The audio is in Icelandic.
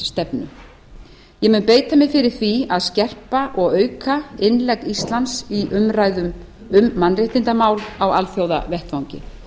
utanríkisstefnu ég mun beita mér fyrir því að skerpa og auka innlegg íslands í umræðuna um mannréttindamál á alþjóðavettvangi